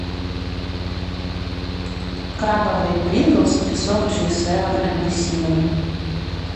крабовые принглс и сок джей севен апельсиновый